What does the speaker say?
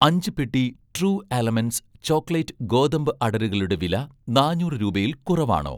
അഞ്ച് പെട്ടി 'True Elements' chocolate ഗോതമ്പ് അടരുകളുടെ വില നാന്നൂറ് രൂപയിൽ കുറവാണോ?